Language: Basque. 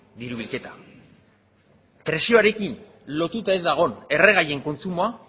diru bilketa prezioarekin lotuta ez dagoen erregaien kontsumoa